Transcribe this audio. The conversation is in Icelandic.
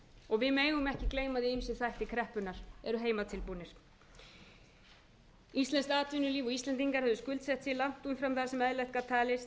og við megum ekki gleyma að ýmsir þættir kreppunnar eru heimatilbúnir íslenskt atvinnulíf eru skuldsettir langt umfram það sem eðlilegt gat talist